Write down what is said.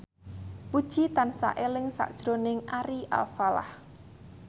Puji tansah eling sakjroning Ari Alfalah